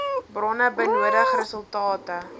bronne benodig resultate